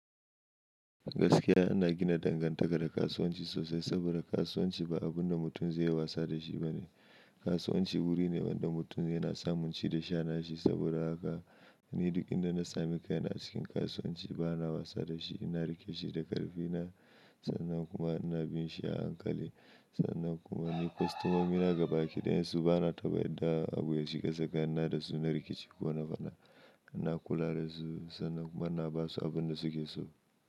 Gaskiya ana gina dangantaka da kasuwanci sosai saboda kasuwanci ba abun da mutum zai yi wasa da shi ba ne. Kasuwanci wuri ne wanda mutum yana samun ci da sha na shi. Saboda haka ni duk inda na samu kai na cikin kasuwanci bana wasa da shi. Ina riƙe shi da ƙarfi na, sannan kuma ina bin shi a hankali. Sannan kuma ni kwastomomi na gabaki ɗayansu bana taɓa yarda abu ya shiga tsakanin na da su. Na rikici ko na fada, ina kula da su sannan kuma ina ba su abin da suke so.